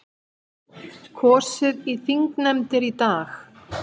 Kosið í þingnefndir í dag